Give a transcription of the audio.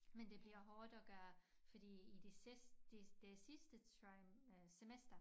Men det bliver hårdt at gøre fordi i det sidst de det sidste tri øh semester